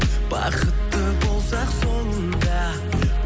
бақытты болсақ соңында